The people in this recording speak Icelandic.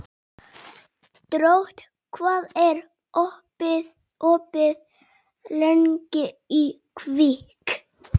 Drótt, hvað er opið lengi í Kvikk?